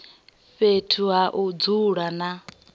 fhethu ha u dzula na